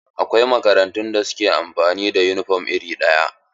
Akwai makarantun da suke amfani da yunifom iri ɗaya.